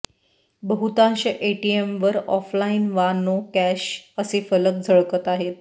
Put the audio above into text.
बहुतांश एटीएमवर ऑफलाईन वा नो कॅश असे फलक झळकत आहेत